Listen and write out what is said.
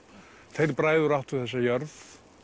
þeir bræður áttu þessa jörð